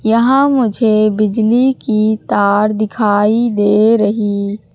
यहां मुझे बिजली की तार दिखाई दे रही--